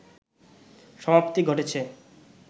সমাপ্তি ঘটেছে